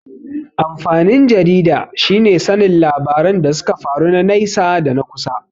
Amfanin jarida shine sanin labaran da suka faru na naisa da na kusa.